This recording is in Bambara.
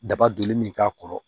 Daba donni min k'a kɔrɔ